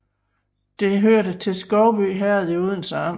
Det hørte til Skovby Herred i Odense Amt